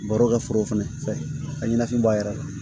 Baro kɛ foro fɛnɛ fɛ a ɲɛnaman b'a yɛrɛ la